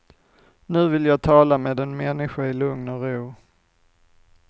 Nu vill jag tala med en människa i lugn och ro.